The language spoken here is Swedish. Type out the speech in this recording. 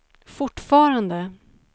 fortfarande